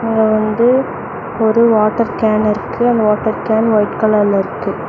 ஆ தோ ஒரு water can இருக்கு அந்த வாட்டர் கேன் ஒய்ட் கலர்ல இருக்கு.